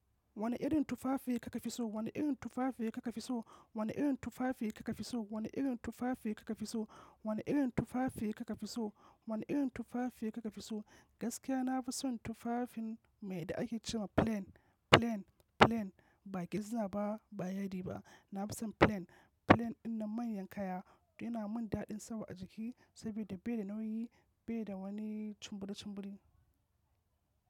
Wani irin tufafi kika fi so? Wani irin tufafi kika fi so? Wani irin tufafi kika fi so? Wani irin tufafi kika fi so? Wani irin tufafi kika fi so? Wani irin tufafi kika fi so? Gaskiya na fi son tufafin mai da ake ce ma plain, plain, plain. Ba getzner ba, ba yadi ba. Na fi son plain. Plain ɗinnan manyan kaya yana mun daɗin sawa a jiki, saboda bai da nauyi, bai da wani chumburi chumburi.